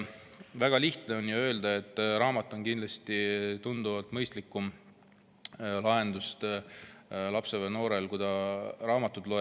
Väga lihtne on öelda, et raamat on kindlasti tunduvalt mõistlikum lahendus, et lapsel ja noorel on parem, kui ta raamatut loeb.